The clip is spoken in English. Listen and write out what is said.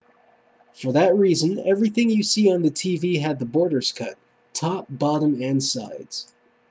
for that reason everything you see on the tv had the borders cut top bottom and sides